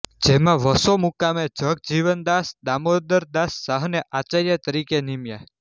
જેમાં વસો મુકામે જગજીવનદાસ દામોદરદાસ શાહને આચાર્ય તરીકે નીમ્યા